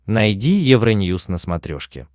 найди евроньюз на смотрешке